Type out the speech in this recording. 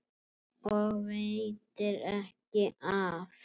Og veitir ekki af.